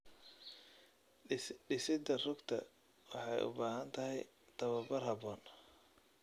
Dhisidda rugta waxay u baahan tahay tababar habboon.